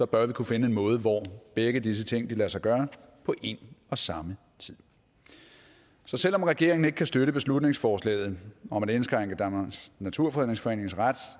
bør vi kunne finde en måde hvorpå begge disse ting lader sig gøre på en og samme tid så selv om regeringen ikke kan støtte beslutningsforslaget om at indskrænke danmarks naturfredningsforenings ret